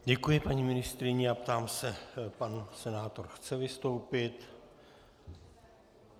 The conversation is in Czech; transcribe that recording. Děkuji paní ministryni a ptám se - pan senátor chce vystoupit?